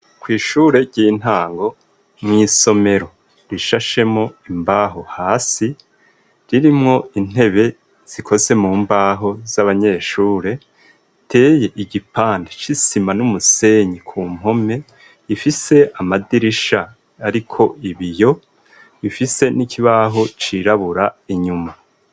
Kw'ishure ry'intango mw'isomero rishashemo imbaho hasi ririmwo intebe zikoze mu mbaho z'abanyeshure teye igipanti icisima n'umusenyi ku mpome ifise amadirisha, ariko ibiyo bifise n'ikibae aho cirabura inyuma.